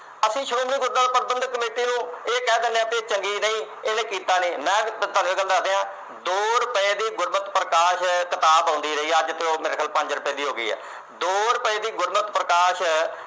ਅਸੀਂ ਸ਼੍ਰੋਮਣੀ ਗੁਰਦੁਆਰਾ ਪ੍ਰਬੰਧਕ committee ਨੂੰ ਇਹ ਕਹਿ ਦਿਨੇ ਆ ਇਹ ਚੰਗੀ ਨਹੀਂ, ਇਹਨੇ ਕੀਤਾ ਨੀ। ਮੈਂ ਤੁਹਾਨੂੰ ਇੱਕ ਗੱਲ ਦੱਸ ਦਿਆਂ ਦੋ ਰੁਪਏ ਦੀ ਗੁਰਮਤਿ ਪ੍ਰਕਾਸ਼ ਕਿਤਾਬ ਆਉਂਦੀ ਰਹੀ ਹੈ, ਅੱਜ ਤੋਂ ਮੇਰੇ ਖਿਆਲ ਪੰਜ ਰੁਪਏ ਦੀ ਹੋ ਗਈ ਆ। ਦੋ ਰੁਪਏ ਦੀ ਗੁਰਮਤਿ ਪ੍ਰਕਾਸ਼